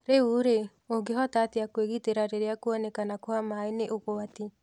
Rĩu-rĩ, ũngĩhota atĩa kwĩgitera rĩrĩa kuoneka kwa maaĩ nĩ ugwati?